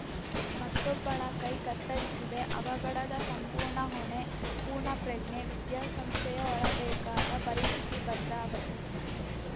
ಮತ್ತೊಬ್ಬಳ ಕೈ ಕತ್ತರಿಸಿದೆ ಅವಘಡದ ಸಂಪೂರ್ಣ ಹೊಣೆ ಪೂರ್ಣಪ್ರಜ್ಞೆ ವಿದ್ಯಾಸಂಸ್ಥೆಯೇ ಹೊರಬೇಕಾದ ಪರಿಸ್ಥಿತಿ ಭದ್ರಾವತಿ